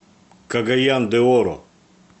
кагаян де оро